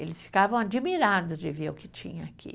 Eles ficavam admirados de ver o que tinha aqui.